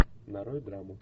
нарой драму